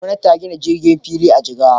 Gwamtani ta gina sabon filin jirgi a Jigawa.